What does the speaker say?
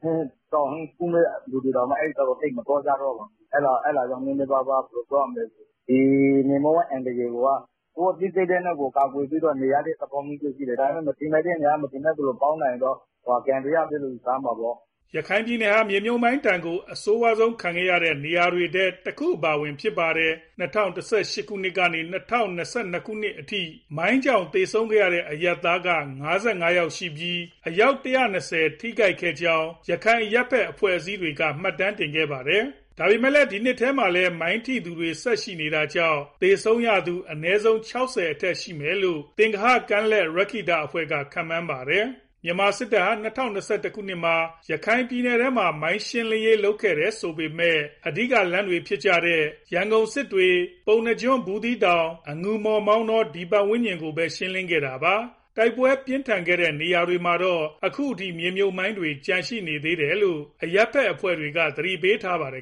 ထဲ တောင်ထဲကသူတွေတောင် အဲဘက်ကို သိပ်မသွားကြတော့ဘူး။ အဲဒါကြောင့် မြေမြှုပ်မိုင်း အန္တရာယ်ကိုယ်က ကိုယ့်အသိစိတ်နဲ့ကိုယ် ကာကွယ်ပြီး နေရတဲ့သဘောမျိုး ရှိတယ်။ ဒါပေမဲ့ မထင်မှတ်တဲ့နေရာက မထင်မှတ်သလို ပေါက်လာရင်တော့ ကံတရားပဲလို့ ယူဆရမှာပေါ့။" ရခိုင်ပြည်နယ်ဟာ မြေမြှုပ်မိုင်းဒဏ်ကို အဆိုးဆုံးခံရတဲ့ နေရာတွေထဲ တခုအပါအဝင် ဖြစ်ပါတယ်။ ၂၀၁၈ ကနေ ၂၀၂၂ အထိ မိုင်းကြောင့် သေဆုံးခဲ့တဲ့ အရပ်သားက ၅၅ ယောက်ရှိပြီး အယောက် ၁၂၀ ထိခိုက်ခဲ့ကြောင်း ရခိုင် အရပ်ဘက် အဖွဲ့အစည်းတွေက မှတ်တမ်းတင်ခဲ့ပါတယ်။ ဒါပေမဲ့ ဒီနှစ်ထဲမှာလည်း မိုင်းထိခဲ့သူတွေ ဆက်ရှိနေတာကြောင့် သေဆုံးရသူ အနည်းဆုံး ၆၀ အထက်ရှိမယ်လို့ သင်္ဂဟကမ်းလက် ရက္ခိတအဖွဲ့က ခန့်မှန်းပါတယ်။ မြန်မာစစ်တပ်ဟာ ၂၀၂၁ မှာ ရခိုင်ပြည်နယ်ထဲမှာ မိုင်းရှင်းလင်းရေး လုပ်ခဲ့တယ်ဆိုပေမဲ့ အဓိကလမ်းတွေဖြစ်တဲ့ ရန်ကုန်-စစ်တွေ၊ ပုဏ္ဏားကျွန်း-ဘူးသီးတောင်၊ အငူမော်-မောင်တော ပတ်ဝန်းကျင်ကိုပဲ ရှင်းလင်းခဲ့တာပါ။ တိုက်ပွဲပြင်းထန်ခဲ့တဲ့ တချို့နေရာတွေမှာတော့ အခုအထိ မြေမြှုပ်မိုင်းတွေ ကျန်ရှိနေတယ်လို့ အရပ်ဘက်အဖွဲ့တွေက သတိပေးထားပါတယ်